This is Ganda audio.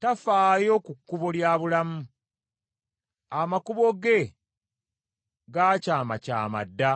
Tafaayo ku kkubo lya bulamu, amakubo ge gaakyamakyama dda,